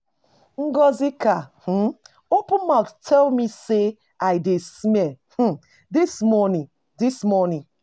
Ngọzika[um] open mouth tell me say I dey smell um dis morning dis morning.